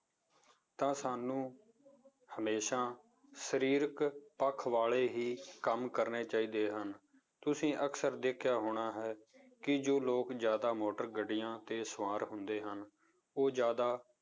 ਤਾਂ ਸਾਨੂੰ ਹਮੇਸ਼ਾ ਸਰੀਰਕ ਪੱਖ ਵਾਲੇ ਹੀ ਕੰਮ ਕਰਨੇ ਚਾਹੀਦੇ ਹਨ, ਤੁਸੀਂ ਅਕਸਰ ਦੇਖਿਆ ਹੋਣਾ ਹੈ ਕਿ ਜੋ ਲੋਕ ਜ਼ਿਆਦਾ ਮੋਟਰ ਗੱਡੀਆਂ ਤੇ ਸਵਾਰ ਹੁੰਦੇ ਹਨ, ਉਹ ਜ਼ਿਆਦਾ